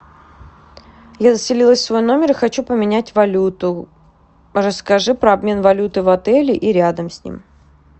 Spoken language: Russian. я заселилась в свой номер и хочу поменять валюту расскажи про обмен валюты в отеле и рядом с ним